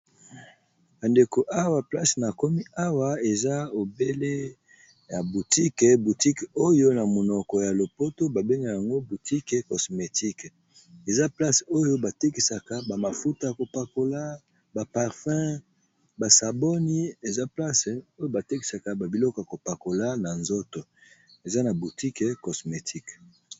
Bandeko awa place na komi awa eza ebele ya boutique butique oyo na monoko ya lopoto babengak yango boutique cosmétique eza place oyo batekisaka bamafuta kopakola baparfums basaboni eza place oyo batekisaka babiloko kopakola na nzoto eza na butique cosmétique.